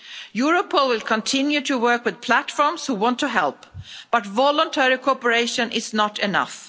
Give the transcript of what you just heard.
Europol will continue to work with platforms who want to help, but voluntary cooperation is not enough.